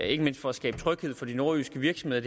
ikke mindst for at skabe tryghed for de nordjyske virksomheder